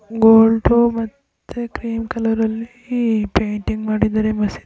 ಗೋಲ್ದು ಮತ್ತೆ cream colour ಲ್ಲಿ painting ಮಾಡಿದಾರೆ ಮಸಿ--